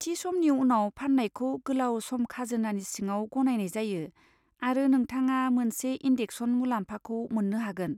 थि समनि उनाव फाननायखौ गोलाव सम खाजोनानि सिङाव गनायनाय जायो आरो नोंथाङा मोनसे इन्देक्सेसन मुलाम्फाखौ मोननो हागोन।